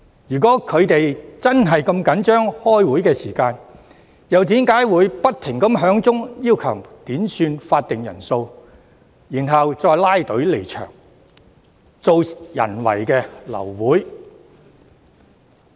如果他們真的如此着緊開會時間，又為何不斷要求點算法定人數，然後拉隊離場，製造人為流會？